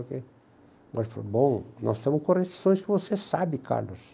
Ele falou, bom, nós temos correções que você sabe, Carlos.